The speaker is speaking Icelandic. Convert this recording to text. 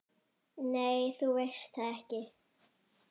Nei, þú veist það ekki.